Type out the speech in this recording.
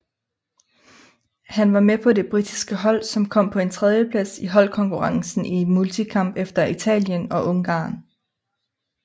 Han var med på det britiske hold som kom på en tredjeplads i holdkonkurrencen i multikamp efter Italien og Ungarn